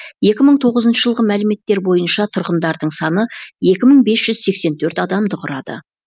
екі мың тоғызыншы жылғы мәліметтер бойынша тұрғындардың саны екі мың бес жүз сексен төрт адамды құрады